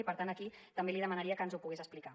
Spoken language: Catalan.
i per tant aquí també li demanaria que ens ho pogués explicar